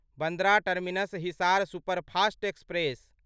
Bandra terminus Hisar superfast express